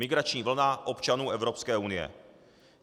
Migrační vlna občanů Evropské unie.